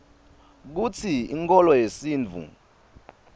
kutsi inkholo yesintfu